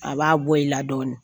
A b'a bɔ i la dɔɔnin